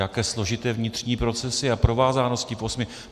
Jaké složité vnitřní procesy a provázanosti v osmi?